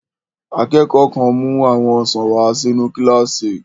Akẹ́kọ̀ọ́ kan mú àwọn ọsàn wà sínu kílásì